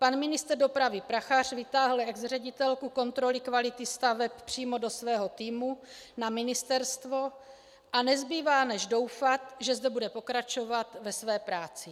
Pan ministr dopravy Prachař vytáhl exředitelku kontroly kvality staveb přímo do svého týmu na ministerstvo a nezbývá než doufat, že zde bude pokračovat ve své práci.